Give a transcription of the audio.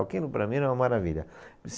Aquilo, para mim, era uma maravilha.